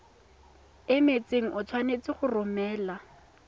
emetseng o tshwanetse go romela